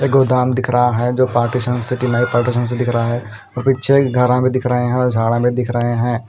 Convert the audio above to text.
एक गोदाम दिख रहा है जो पार्टीशान्स सिटी लाइफ पार्टीशन से दिख रहा है और पीछे एक घारा भी दिख रहे है और झाड़ा भी दिख रहे है।